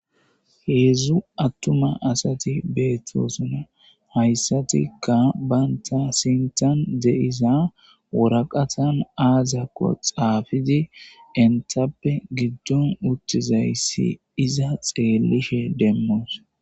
Heedzdzu attuma asati beettossona hayssatikka banta sintan de7iza woraqatan aazakko xaafidi entappe giddon uttizayssi iiza xeellishe demmoos.